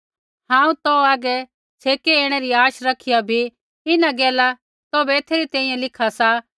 हांऊँ तौ हागै छ़ेकै ऐणै री आशा रखिया भी इन्हां गैला तौभै एथै री तैंईंयैं लिखा सा